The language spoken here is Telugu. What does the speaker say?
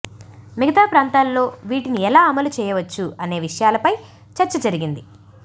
మిగతా ప్రాంతాల్లో వీటిని ఎలా అమలుచేయవచ్చు అనే విషయాలపై చర్చ జరిగింది